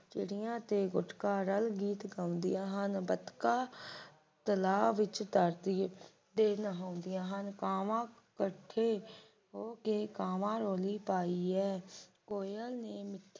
ਚਿੜੀਆਂ ਤੇ ਗੁਟਕਾਰਲ ਗੀਤ ਗਾਉਂਦੀਆਂ ਹਨ ਬਤਕਾਂ ਤਲਾਬ ਵਿਚ ਤਰਦੀਆਂ ਤੇ ਨਹਾਂ ਹੁੰਦੀਆਂ ਹਨ ਕਾਵਾਂ ਇਕੱਠੇ ਹੋ ਕੇ ਕਾਵਾਂ ਰੌਲੀ ਪਾਈ ਹੈ ਕੋਇਲ ਨੇ ਮਿੱਠੀ